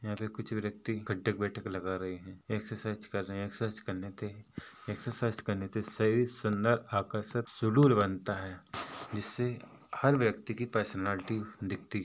यहाँ पर कुछ व्यक्ति उठक-बैठक लगा रहे है एक्सरसाइज कर रहे है एक्सरसाइज कर लेते है एक्सरसाइज कर ने से शरीर सुन्दर आकर्षक सुदुल बनता है जिससे हर व्यक्ति की पर्सनैलिटी --